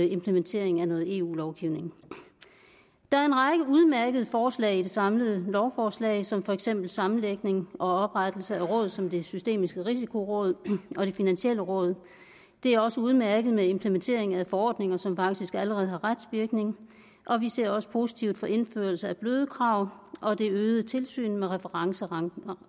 implementering af noget eu lovgivning der er en række udmærkede forslag i det samlede lovforslag som for eksempel sammenlægning og oprettelse af råd som det systemiske risikoråd og det finansielle råd det er også udmærket med implementering af forordninger som faktisk allerede har retsvirkning vi ser også positivt på indførelsen af bløde krav og det øgede tilsyn med referencerenten